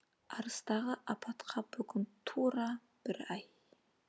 арыстағы апатқа бүгін тура бір ай